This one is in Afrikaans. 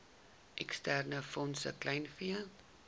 eksterne fondse kleinvee